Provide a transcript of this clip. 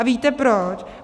A víte proč?